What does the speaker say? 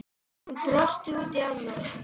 Hann brosti út í annað.